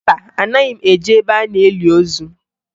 Mba, anaghị m eje ebe a na-eli ozu